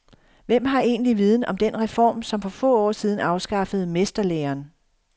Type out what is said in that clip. Hvem har egentlig viden om den reform, som for få år siden afskaffede mesterlæren.